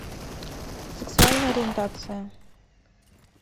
сексуальная ориентация